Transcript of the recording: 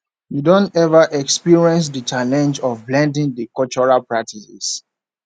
you don ever experience di challenge of blending di cultural practices